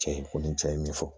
Cɛ in kɔni cɛ ye min fɔ